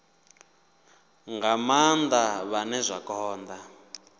nga maanda vhane zwa konda